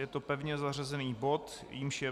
Je to pevně zařazený bod, jímž je